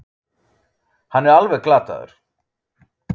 Hann er alveg glataður.